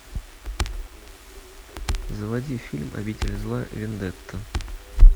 заводи фильм обитель зла вендетта